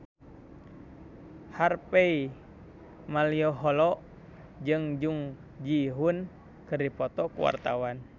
Harvey Malaiholo jeung Jung Ji Hoon keur dipoto ku wartawan